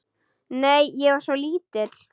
Nei, ég var svo lítil.